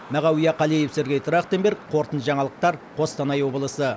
мағауия қалиев сергей трахтенберг қорытынды жаңалықтар қостанай облысы